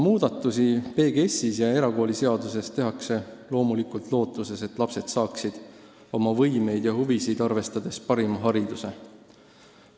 Muudatusi PGS-is ja erakooliseaduses tehakse lootuses, et lapsed saaksid oma võimeid ja huvisid arvestades parima hariduse.